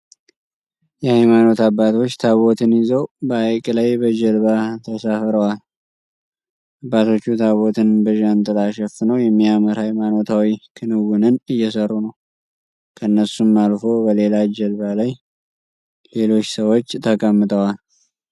የሃይማኖት አባቶች ታቦትን ይዘው በሃይቅ ላይ በጀልባ ተሳፍረዋል። አባቶቹ ታቦቱን በዣንጥላ ሸፍነው የሚያምር ሃይማኖታዊ ክንውንን እየሰሩ ነው። ከነሱም አልፎ በሌላ ጀልባ ላይ ሌሎች ሰዎች ተቀምጠዋል።